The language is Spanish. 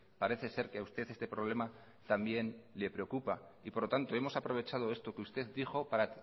parece ser que usted este problema también le preocupa y por lo tanto hemos aprovechado esto que usted dijo para